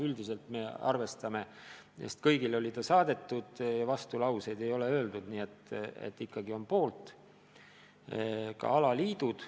Üldiselt oli eelnõu kõigile saadetud, vastulauseid ei ole öeldud, nii et ikkagi on poolt ka alaliidud.